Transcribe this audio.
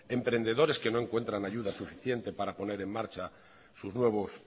emprendedores que no encuentran ayuda suficiente para poner en marcha sus nuevos